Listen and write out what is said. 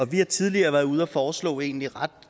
vi har tidligere været ude at foreslå et egentlig ret